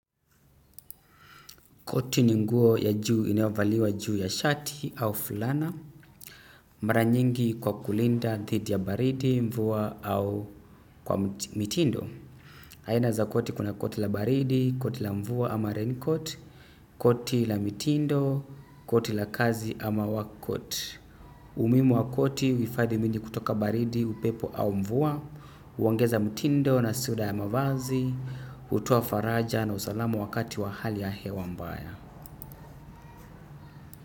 Koti ni nguo ya juu inayovaliwa juu ya shati au fulana. Mara nyingi kwa kulinda dhidi ya baridi, mvua au kwa mitindo. Aina za koti: kuna koti la baridi, koti la mvua ama rain coat, koti la mitindo, koti la kazi ama wakoti. Umuhimu wa koti: huhifadhi mwili kutoka baridi, upepo au mvua, huongeza mitindo na sura ya mavazi, hutoa faraja na usalama wakati wa hali ya hewa mbaya.